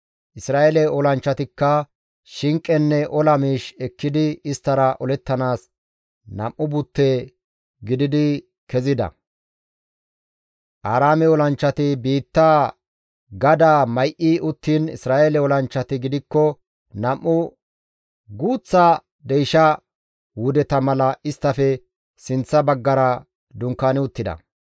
Isra7eele olanchchatikka shinqenne ola miish ekkidi isttara olettanaas nam7u butte gididi kezida. Aaraame olanchchati biittaa gadaa may7i uttiin Isra7eele olanchchati gidikko nam7u guuththa deysha wudeta mala isttafe sinththa baggara dunkaani uttida.